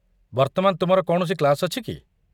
ବର୍ତ୍ତମାନ ତୁମର କୌଣସି କ୍ଲାସ ଅଛି କି?